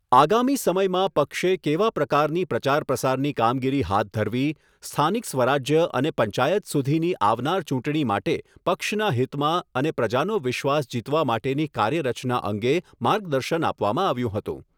આગામી સમયમાં પક્ષે કેવા પ્રકારની પ્રચાર પ્રસારની કામગીરી હાથ ધરવી, સ્થાનિક સ્વરાજ્ય અને પંચાયત સુધીની આવનાર ચૂંટણી માટે પક્ષના હિતમાં અને પ્રજાનો વિશ્વાસ જીતવા માટેની કાર્યરચના અંગે માર્ગદર્શન આપવામાં આવ્યું હતું.